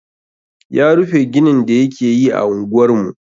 Ya rufe ginin da yake yi a unguwar mu.